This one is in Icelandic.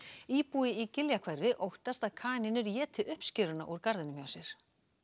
íbúi í Giljahverfi óttast að kanínur éti uppskeruna úr garðinum hjá sér